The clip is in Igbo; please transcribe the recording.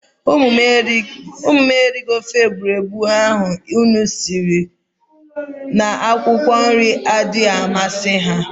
Umu m erighi ofe egburegbu m siri n'ihi n'akwụkwọ nri adaghi amasi ha.